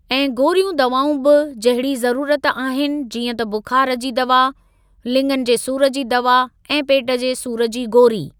ऐं गोरीयूं दवाऊं बि जहिड़ी ज़रुरत आहिनि जीअं त बुखार जी दवा, लिंङनि जे सूर जी दवा ऐं पेट जे सूर जी गोरी।